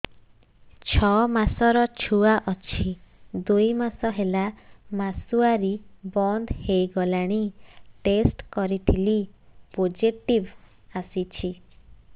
ଛଅ ମାସର ଛୁଆ ଅଛି ଦୁଇ ମାସ ହେଲା ମାସୁଆରି ବନ୍ଦ ହେଇଗଲାଣି ଟେଷ୍ଟ କରିଥିଲି ପୋଜିଟିଭ ଆସିଛି